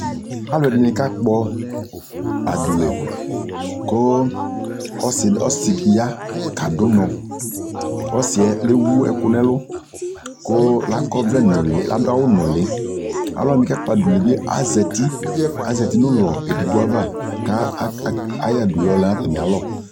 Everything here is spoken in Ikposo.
alʋɛdini ka kpɔ adʋ lɛ kʋ ɔsii di ya kadʋ ʋnɔ, ɔsiiɛ lɛ wʋ ɛkʋ nʋɛlʋ kʋ la kɔ ɔvlɛ nʋli akɔ ɔvlɛ nʋli, alʋwani ka kpɔ adʋlɛ bi azati, azati nʋ ɔlɔ ɛdigbɔ aɣa kʋ ayɔ adʋlɔ lɛnʋ atami alɔ